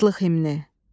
Azadlıq himni.